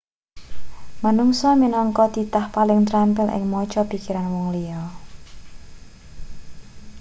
manungsa minangka titah paling trampil ing maca pikiran wong liya